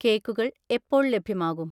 കേക്കുകൾ എപ്പോൾ ലഭ്യമാകും?